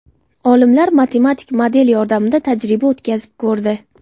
Olimlar matematik model yordamida tajriba o‘tkazib ko‘rdi.